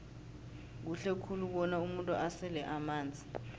kuhle khulu bona umuntu asele amanzi